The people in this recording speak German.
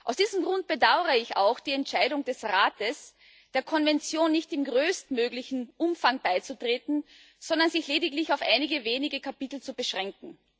Aus diesem Grund bedaure ich auch die Entscheidung des Rates, der Konvention nicht im größtmöglichen Umfang beizutreten, sondern sich lediglich auf einige wenige Kapitel zu beschränken.